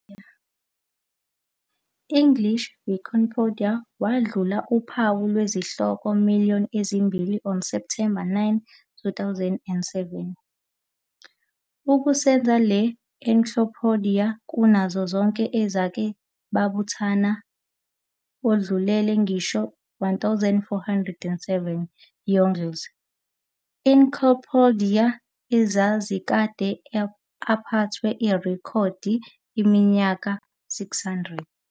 English Wikipedia wadlula uphawu lwezihloko million ezimbili on September 9, 2007, okusenza le encyclopedia kunazo zonke ezake babuthana, odlulele ngisho 1407 Yongle Encyclopedia, ezazikade aphethwe irekhodi iminyaka 600.